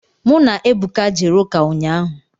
Mụ na Ebuka jere ụka ụnyaahụ.